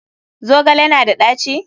Zogale na da ɗaci?